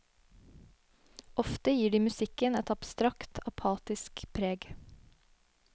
Ofte gir de musikken et abstrakt, apatisk preg.